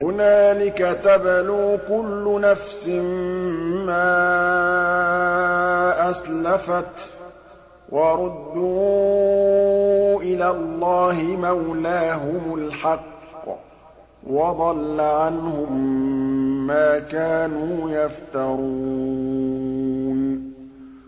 هُنَالِكَ تَبْلُو كُلُّ نَفْسٍ مَّا أَسْلَفَتْ ۚ وَرُدُّوا إِلَى اللَّهِ مَوْلَاهُمُ الْحَقِّ ۖ وَضَلَّ عَنْهُم مَّا كَانُوا يَفْتَرُونَ